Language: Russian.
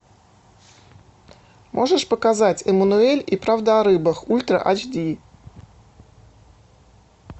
можешь показать эммануэль и правда о рыбах ультра эйч ди